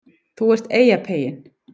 ÞÚ ERT EYJAPEYINN